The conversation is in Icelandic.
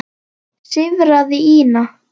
sífraði Ína.